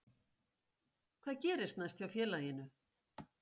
Hvað gerist næst hjá félaginu?